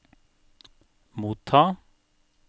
motta